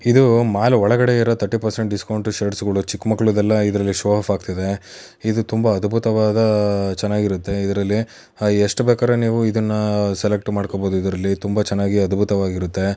ಇದು ಮಾಲ್ ಒಳಗಡೆ ಇರುವ ಥರ್ಟಿ ಪರೆಸೆಂಟ್ ಡಿಸ್ಕೌಂಟ್ ಶೇರಸಗಳು ಚಿಕ್ಕ ಮಕ್ಕಳದು ಎಲ್ಲ ಶೋ ಆಫ್ ಆಗತ್ತಾ ಇದೆ ಇದು ತುಂಬಾ ಅದ್ಬುತ್ತವಾದ ಚೆನಾಗಿರುತ್ತೆ ಇದ್ರಲ್ಲಿ ಎಷ್ಟು ಬೇಕಾದ್ರೂ ನೀವು ಇದುನನ್ ಸೆಲೆಕ್ಟ್ ಮಾಡ್ಕೊಬೋದು ಇದ್ರಲ್ಲಿ ತುಂಬಾ ಚೆನ್ನಾಗಿ ಅದ್ಬುತವಾಗಿ ಇರುತ್ತೆ.